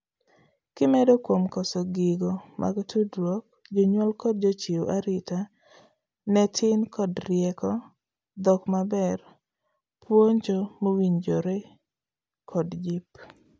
kimedo kuom koso gigo mag tudruok , jonyuol kod jochiw arita ne tin kod rieko, dhok maber, puonjo mowinjorekod jip